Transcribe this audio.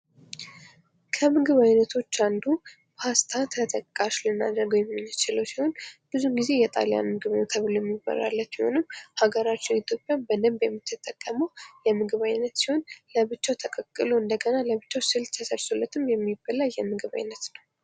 ከምግብ ዓይነቶች አንዱ ፓስታ ተጠቃሽ ልናደርግ የምንችለው ሲሆን፤ ብዙ ጊዜ የጣሊያን ምግብ ነው ተብሎ የሚወራለት የሆነው። ሀገራቸው ኢትዮጵያ በደንብ የምትጠቀመው የምግብ አይነት ሲሆን ፤ለብቻው ተቀቅሎ እንደገና ለብቻው ስልስ ተሰርቶለትም የሚበላ የምግብ አይነት ነው።